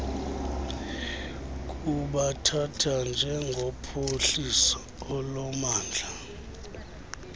kubathatha njengophuhliso olumandla